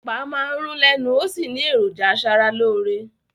Ẹ̀pà máa ń rún lẹ́nu ó sì ní èròjà aṣaralóore